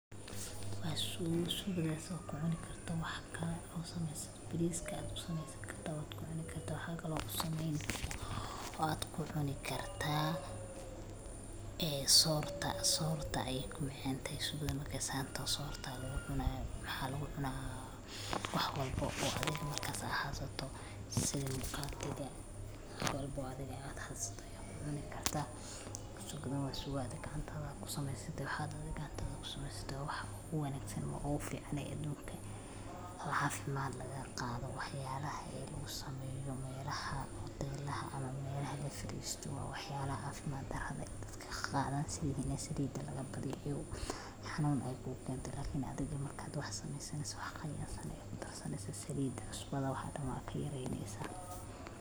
Maxaa ku cuni karto bariska aya kusamesan kartaa cunta aya ku cuni kartaa ee sorta ayey ku macantahy sorta aya lagu cuna maxaa lagu cuna wax walbo aa adhiga hasato waxaa adhiga gacantadha kusameso wax qiyasan aya kudarsaneysa salida iyo cusbada aya kuyareynesa.